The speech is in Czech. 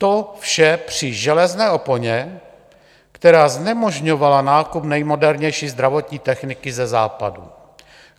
To vše při železné oponě, která znemožňovala nákup nejmodernější zdravotní techniky ze Západu.